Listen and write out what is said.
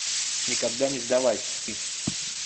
никогда не сдавайся